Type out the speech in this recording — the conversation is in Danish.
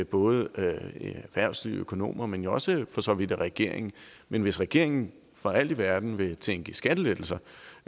både i erhvervslivet økonomer men jo også for så vidt også af regeringen men hvis regeringen for alt i verden vil tænke i skattelettelser